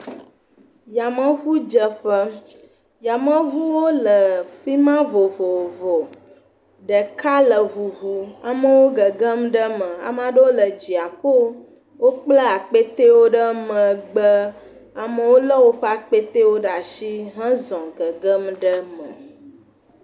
Yameŋudzeƒe, yameŋuwo le fi ma vovovo, ɖeka le ŋuŋu amewo gegem ɖe eme ame aɖewo le dziaƒo, wokpla akpetewo ɖe megbe, amewo lé woƒe akpetewo ɖe asi hezɔ gegem ɖe eme.